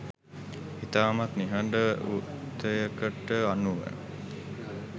ඉතාමත් නිහඬ වුතයකට අනුව